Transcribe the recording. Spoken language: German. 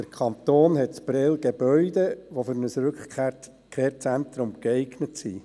Der Kanton hat in Prêles Gebäude, die für ein Rückkehrzentrum geeignet sind.